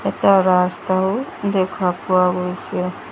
পকা ৰাস্তাও দেখা পোৱা গৈছে।